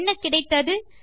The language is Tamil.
என்ன கிடைத்தது